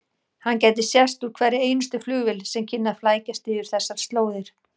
Hann gæti sést úr hverri einustu flugvél sem kynni að flækjast yfir þessar slóðir.